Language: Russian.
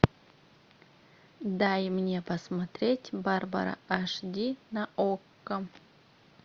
дай мне посмотреть барбара аш ди на окко